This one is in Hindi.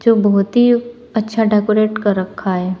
बहुत ही अच्छा डेकोरेट कर रखा है।